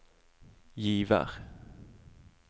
Givær